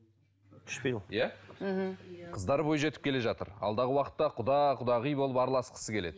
өшпейді ол иә мхм қыздары бой жетіп келе жатыр алдағы уақытта құда құдағи болып араласқысы келеді